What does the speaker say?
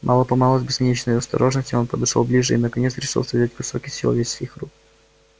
мало помалу с бесконечной осторожностью он подошёл ближе и наконец решился взять кусок из человеческих рук